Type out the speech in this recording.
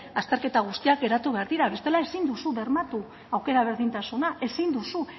azterketa guztiak geratu behar dira bestela ezin duzu bermatu aukera berdintasuna ezin duzu